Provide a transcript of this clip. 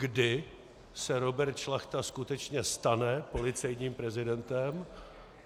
Kdy se Robert Šlachta skutečně stane policejním prezidentem?